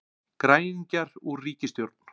Græningjar úr ríkisstjórn